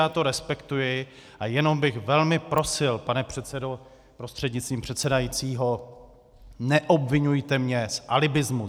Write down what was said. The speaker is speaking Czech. Já to respektuji a jenom bych velmi prosil, pane předsedo prostřednictvím předsedajícího, neobviňujte mě z alibismu.